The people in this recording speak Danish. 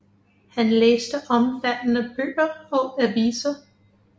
Han læste omfattende bøger og aviser